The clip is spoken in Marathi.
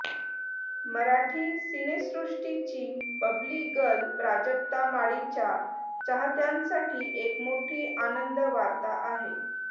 मराठी सिनेसृष्टीची बबली गर्ल प्राजक्ता माळीच्या चाहत्यांसाठी एक मोठी आनंद वार्ता आहे